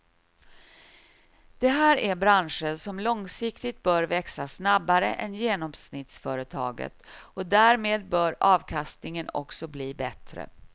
Det här är branscher som långsiktigt bör växa snabbare än genomsnittsföretaget och därmed bör avkastningen också bli bättre.